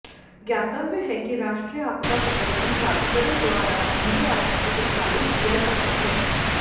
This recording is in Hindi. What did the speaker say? ज्ञातव्य है कि राष्ट्रीय आपदा प्रबंधन प्राधिकरण द्वारा एनडीआरएफ का संचालन किया जाता है